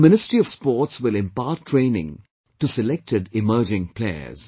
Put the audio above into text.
The Ministry of Sports will impart training to selected emerging players